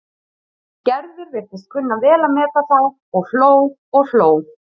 Gerður virtist kunna vel að meta þá og hló og hló.